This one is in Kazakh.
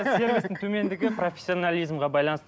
сервистің төмендегі профессионализмге байланысты